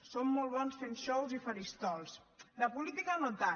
són molt bons fent xous i faristols de política no tant